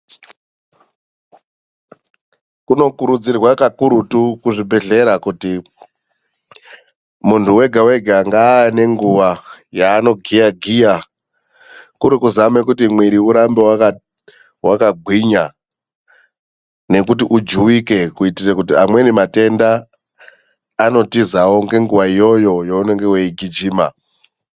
Kunokurudzirwa kakurutu muzvibhedhlera kuti munhu wega wega ngaawe nenguwa yaanogiya giya, kuri kuzama kuti mwiri urambe wakagwinya nekuti ujuwike kuitira kuti amweni matenda anotizawo ngenguwa iyoyo yaunenge weigijima.